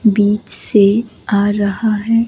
बीच से आ रहा है।